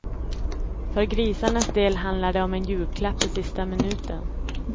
För grisarnas del handlar det om en julklapp i sista minuten.